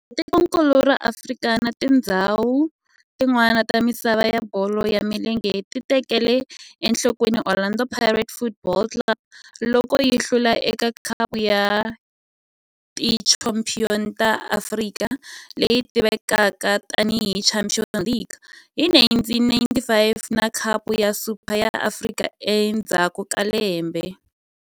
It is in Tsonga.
Kambe tikonkulu ra Afrika na tindzhawu tin'wana ta misava ya bolo ya milenge ti tekele enhlokweni Orlando Pirates Football Club loko yi hlula eka Khapu ya Tichampion ta Afrika, leyi tivekaka tani hi Champions League, hi 1995 na Khapu ya Super ya Afrika endzhaku ka lembe.